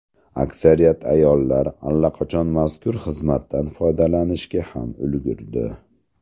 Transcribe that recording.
Aksariyat ayollar allaqachon mazkur xizmatdan foydalanishga ham ulgurdi.